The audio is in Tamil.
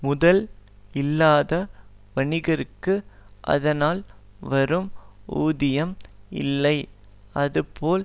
முதல் இல்லாத வணிகர்க்கு அதனால் வரும் ஊதியம் இல்லை அதுபோல்